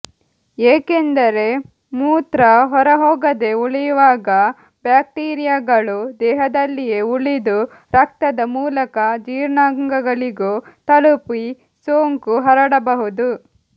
ಏಕೆಂದರೆ ಮೂತ್ರ ಹೊರಹೋಗದೇ ಉಳಿಯುವಾಗ ಬ್ಯಾಕ್ಟೀರಿಯಾಗಳೂ ದೇಹದಲ್ಲಿಯೇ ಉಳಿದು ರಕ್ತದ ಮೂಲಕ ಜೀರ್ಣಾಂಗಗಳಿಗೂ ತಲುಪಿ ಸೋಂಕು ಹರಡಬಹುದು